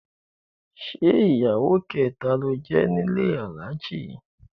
Ṣé ìyàwó kẹta ló jẹ́ nílé Alhaji?